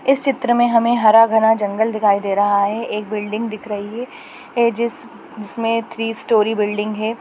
इस चित्र में हमे हरा-भरा जंगल दिखाई दे रहा है एक बिल्डिंग दिख रही है ए जिस जिसमें थ्री स्टोरी बिल्डिंग है।